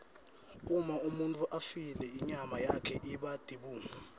uma umuntfu afile inyama yakhe iba tibungu